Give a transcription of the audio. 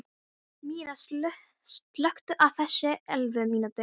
Myrra, slökktu á þessu eftir ellefu mínútur.